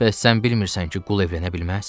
Bəs sən bilmirsən ki, qul evlənə bilməz?